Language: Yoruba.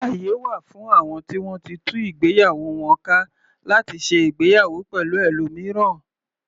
Àyè wà fún àwọn ti wọ́n ti tú ìgbéyàwó wọn ka láti ṣe ìgbéyàwó pẹ̀lú ẹlòmíràn.